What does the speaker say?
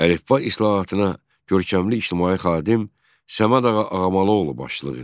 Əlifba islahatına görkəmli ictimai xadim Səməd ağa Ağamalıoğlu başçılıq edirdi.